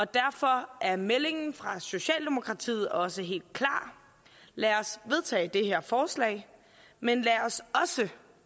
derfor er meldingen fra socialdemokratiet også helt klar lad os vedtage det her forslag men